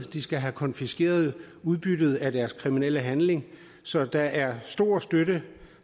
de skal have konfiskeret udbyttet af deres kriminelle handling så der er stor støtte